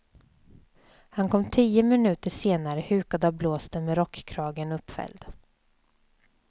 Han kom tio minuter senare hukad av blåsten med rockkragen uppfälld.